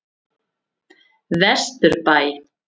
Vesturbæ